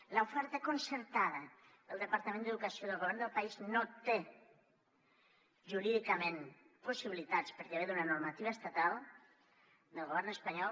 en l’oferta concertada el departament d’educació del govern del país no hi té jurídicament possibilitats perquè ve d’una normativa estatal del govern espanyol